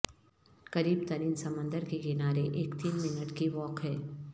قریب ترین سمندر کے کنارے ایک تین منٹ کی واک ہے